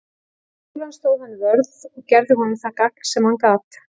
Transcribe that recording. Um skólann stóð hann vörð og gerði honum það gagn sem hann gat.